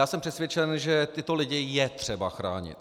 Já jsem přesvědčen, že tyto lidi je třeba chránit.